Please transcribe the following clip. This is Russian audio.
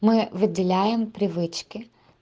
мы выделяем привычки